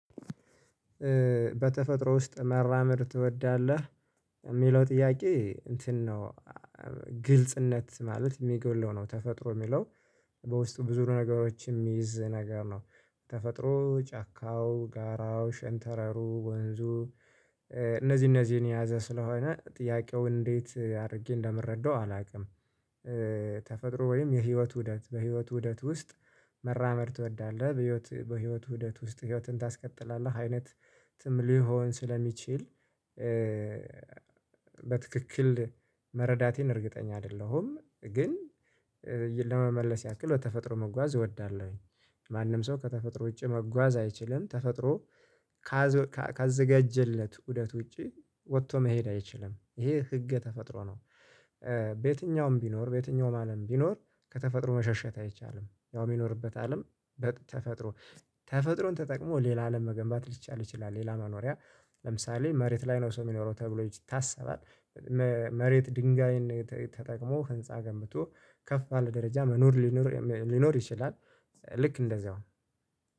በተፈጥሮ ውስጥ መራመድ ትወዳለህ የሚለው ጥያቄ እንትን ነው። ግልጽነት ማለት የሚገድለው ነው። ተፈጥሮ የሚለው በውስጡ ብዙ ነገሮችም የሚይዝ ነገር ነው። ተፈጥሮ ጫካው ጋራው ሸንተረሩ ወንዙ። እነዚህ እነዚህን የያዘ ስለሆነ ጥያቄው እንዴት አድርጌ እንደምረዳው አላውቅም። ተፈጥሮ ወይም የህይወት ውደት በህይወት ውደት ውስጥ መራመድ ትወዳለህ? በህይወት በህይወት ውደት ውስጥ ህይወትን ታስቀጥላለህ አይነት ሊሆን ስለሚችል። በትክክል መረዳቴን እርግጠኛ አይደለሁም ግን ለመመለስ ያክል ተፈጥሮ መጓዝ እወዳለሁኝ። ማንም ሰው ከተፈጥሮ ውጪ መጓዝ አይችልም ተፈጥሮ። ካዘጋጀለት ውደት ውጪ ወጥቶ መሄድ አይችልም ይሄ ህገ ተፈጥሮ ነው። በየትኛውም ቢኖር በየትኛውም ማንም ቢኖር ከተፈጥሮ መሸሸት አይቻልም ያው የሚኖርበት አለም በተፈጥሮ ተፈጥሮን ተጠቅሞ ሌላ አለም መገንባት ሊቻል ይችላል። ሌላ መኖሪያ ለምሳሌ መሬት ላይ ነው ሰው የሚኖረው ተብሎ ይታሰባል። መሬት ድንጋይን ተጠቅሞ ህንፃ ገምብቶ ከፍ ባለ ደረጃ መኖር ሊኖር ሊኖር ይችላል። ልክ እንደዛው